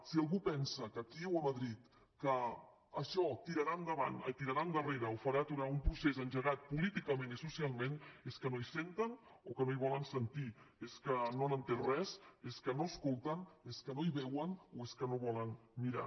si algú pensa aquí o a madrid que això tirarà enrere o farà aturar un procés engegat políticament i socialment és que no hi senten o que no hi volen sentir és que no han entès res és que no escolten és que no hi veuen o és que no volen mirar